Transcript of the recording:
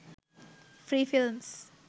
free films